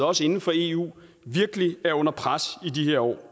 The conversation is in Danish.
også inden for eu virkelig er under pres i de her år